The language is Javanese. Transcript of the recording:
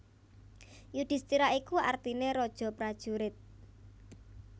Yudhistira iku artine raja prajurit